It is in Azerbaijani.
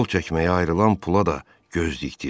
Yol çəkməyə ayrılan pula da gözdikdiz.